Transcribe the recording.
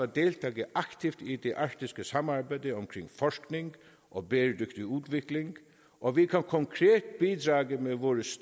deltage aktivt i det arktiske samarbejde om forskning og bæredygtig udvikling og vi kan konkret bidrage med vores